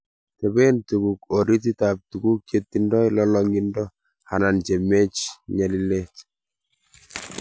teben tunguk orititab tuguk che tingdoi lolong'indo anan che mech nyalil.